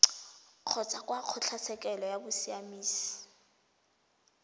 kgotsa kwa kgotlatshekelo ya bosiamisi